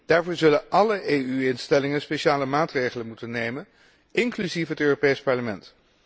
Daarvoor zullen alle EU instellingen speciale maatregelen moeten nemen, inclusief het Europees Parlement.